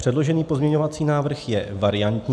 Předložený pozměňovací návrh je variantní.